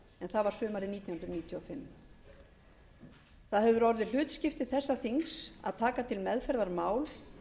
sumarið nítján hundruð níutíu og fimm það hefur orðið hlutskipti þessa þings að taka til meðferðar mál